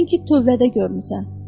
Dedin ki, tövlədə görmüsən.